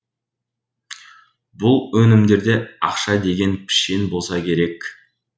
бұл онимдерде ақша деген пішен болса керек